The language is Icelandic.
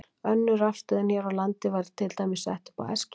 Önnur rafstöðin hér á landi var til dæmis sett upp á Eskifirði árið